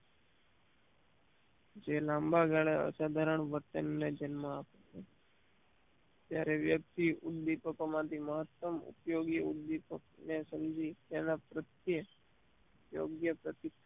જે લાંબા ગાળે સાધારણ વર્તન જન્મ આપે ત્યારે વ્યક્તિ ઉદ્દીપકો માંથી મહત્તમ ઉપયોગી ઉદ્દીપક ને સમજી એના પ્રત્યે યોગ્ય પ્રતિક્ર